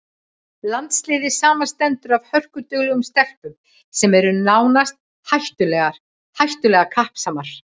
Landsliðið samanstendur af hörkuduglegum stelpum sem eru nánast hættulega kappsamar.